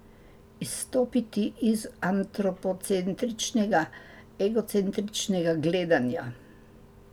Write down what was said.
Izstopiti iz antropocentričnega, egocentričnega gledanja.